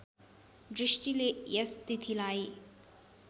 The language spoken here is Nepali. दृष्टिले यस तिथिलाई